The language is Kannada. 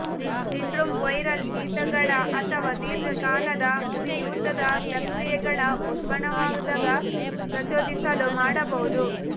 ಸಿಂಡ್ರೋಮ್ ವೈರಲ್ ಶೀತಗಳ ಅಥವಾ ದೀರ್ಘಕಾಲದ ಉರಿಯೂತದ ಪ್ರಕ್ರಿಯೆಗಳ ಉಲ್ಬಣವಾದಾಗ ಪ್ರಚೋದಿಸಲು ಮಾಡಬಹುದು